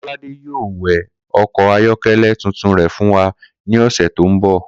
Kó̩ládé yóò we̩ o̩kò̩ ayó̩ké̩lé̩ tuntun re fún wa ní ò̩sè̩ tó ń bò̩